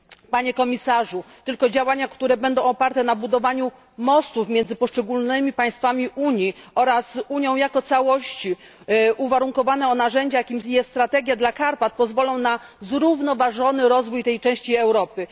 Panie Komisarzu, tylko działania, które będą oparte na budowaniu mostów miedzy poszczególnymi państwami Unii oraz Unią, jako całością, oparte na narzędziach, takich jak strategia dla Karpat, pozwolą na zrównoważony rozwój tej części Europy.